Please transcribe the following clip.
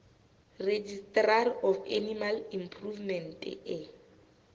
registrar of animal improvement e